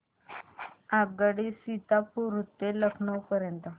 आगगाडी सीतापुर ते लखनौ पर्यंत